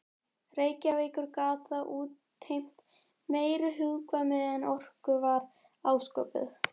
Reykjavíkur gat það útheimt meiri hugkvæmni en okkur var ásköpuð.